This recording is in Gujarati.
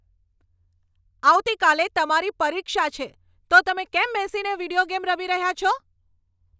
આવતીકાલે તમારી પરીક્ષા છે, તો તમે કેમ બેસીને વિડિયો ગેમ રમી રહ્યા છો?